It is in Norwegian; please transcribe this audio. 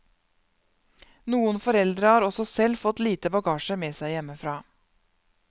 Noen foreldre har også selv fått lite bagasje med seg hjemmefra.